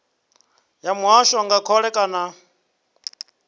ya muvhuso nga khole kana